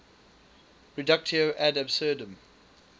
reductio ad absurdum